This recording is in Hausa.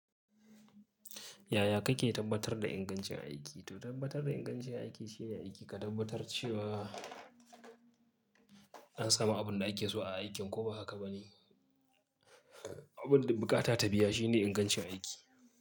Yaya kake tabbatar da ingancin aiki? To tabbatar da ingancin aiki shine aiki ka tabbatar cewa an samu abin da ake so a aikin ko ba haka ba ne. Abin da bukata ta biya shine ingancin aiki.